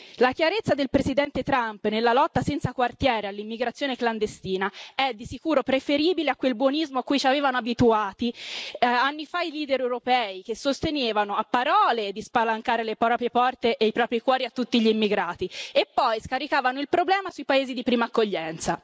La chiarezza del presidente Trump nella lotta senza quartiere all'immigrazione clandestina è di sicuro preferibile a quel buonismo a cui ci avevano abituati anni fa i leader europei che sostenevano, a parole, di spalancare le proprie porte e i propri cuori a tutti gli immigrati e poi scaricavano il problema sui paesi di prima accoglienza.